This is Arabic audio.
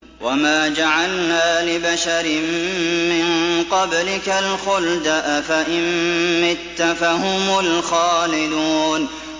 وَمَا جَعَلْنَا لِبَشَرٍ مِّن قَبْلِكَ الْخُلْدَ ۖ أَفَإِن مِّتَّ فَهُمُ الْخَالِدُونَ